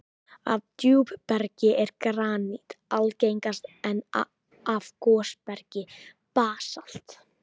Af djúpbergi er granít algengast, en af gosbergi basalt.